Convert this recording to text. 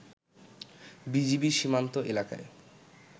BGB সীমান্ত এলাকায়